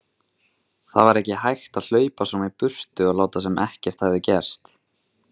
Það var ekki hægt að hlaupa svona í burtu og láta sem ekkert hefði gerst.